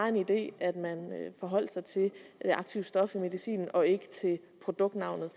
en idé at man forholdt sig til aktivstoffet i medicinen og ikke til produktnavnet